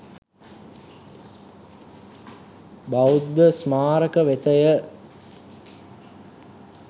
බෞද්ධ ස්මාරක වෙතය.